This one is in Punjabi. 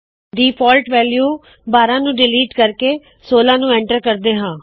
ਡਿਫਾਲਟ ਵੈਲੂ 12 ਨੂੰ ਡਿਲੀਟ ਕਰਕੇ 16 ਨੂੰ ਐਂਟਰ ਕਰਦੇ ਹਾ